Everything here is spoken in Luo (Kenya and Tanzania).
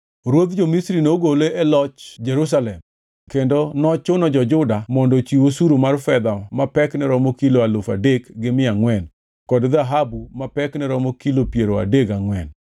Ruodh jo-Misri nogole e loch Jerusalem kendo nochuno jo-Juda mondo ochiw osuru mar fedha ma pekne romo kilo alufu adek gi mia angʼwen kod dhahabu ma pekne romo kilo piero adek gangʼwen.